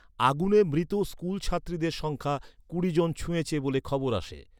আগুনে মৃত স্কুলছাত্রীদের সংখ্যা কুড়ি জন ছুঁয়েছে বলে খবর আসে।